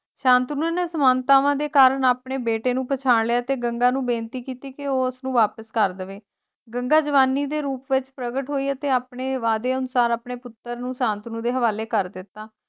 ਸ਼ਾਂਤਨੂ ਨੇ ਸਮਾਨਤਾਵਾਂ ਦੇ ਕਾਰਨ ਆਪਣੇ ਬੇਟੇ ਨੂੰ ਪਛਾਣ ਲਿਆ ਅਤੇ ਗੰਗਾ ਨੂੰ ਬੇਨਤੀ ਕੀਤੀ ਕੇ ਉਹ ਉਸਨੂੰ ਵਾਪਸ ਕਰ ਦੇਵੇ, ਗੰਗਾ ਜਵਾਨੀ ਦੇ ਰੂਪ ਵਿੱਚ ਪ੍ਰਗਟ ਹੋਈ ਤੇ ਆਪਣੇ ਵਾਅਦੇ ਅਨੁਸਾਰ ਆਪਣੇ ਪੁੱਤਰ ਨੂੰ ਸ਼ਾਂਤਨੂ ਦੇ ਹਵਾਲੇ ਕਰ ਦਿੱਤਾ।